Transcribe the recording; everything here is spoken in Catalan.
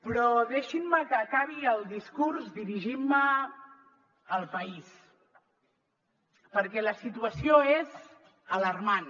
però deixin me que acabi el discurs dirigint me al país perquè la situació és alarmant